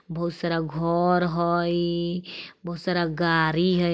बहुत सारा घोर हई बहुत सारा गारी हय।